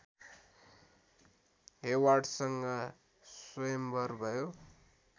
हेवार्डसँग स्वयम्वर भयो